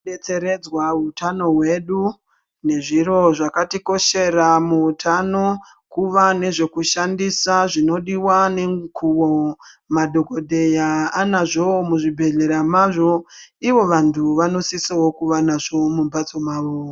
Tinobetseredzwa muutano hwedu nezviro zvakatikoshera muhutano kuva nezvekushandisa zvinodiwa nemukuwo. Madhokodheya anazvowo muzvibhedhlera mazvo, ivo vantu vanosiso kuvanazvovo mumhatso mwawo.